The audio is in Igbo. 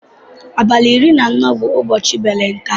Abali iri na anọ bu ụbọchi balentie.